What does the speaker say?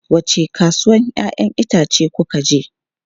Wace kasuwan 'ya'yan itace kuka je?